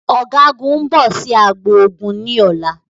Ọ̀gágun ń bọ̀ sì agbo ogun ni ọ̀la